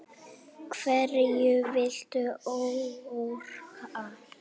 Hverju viltu áorka?